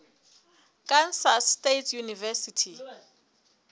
kansas state university